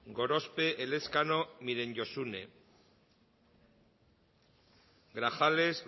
gorospe elezkano josune grajales